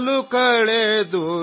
ದಿನ ಕಳೆದು ಕತ್ತಲಾಗಿದೆ